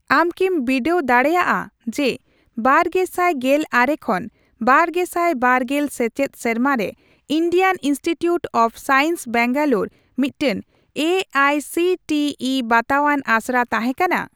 ᱟᱢ ᱠᱤᱢ ᱵᱤᱰᱟᱹᱣ ᱫᱟᱲᱮᱜᱼᱟ ᱡᱮ ᱵᱟᱨᱜᱮᱥᱟᱭ ᱜᱮᱞ ᱟᱨᱮ ᱠᱷᱚᱱ ᱵᱟᱨᱜᱮᱥᱟᱭ ᱵᱟᱨᱜᱮᱞ ᱥᱮᱪᱮᱫ ᱥᱮᱨᱢᱟᱨᱮ Indian Institute of Science Bangalore ᱢᱤᱫᱴᱟᱝ A I C T E ᱵᱟᱛᱟᱣᱟᱱ ᱟᱥᱲᱟ ᱛᱟᱦᱮᱸ ᱠᱟᱱᱟ ?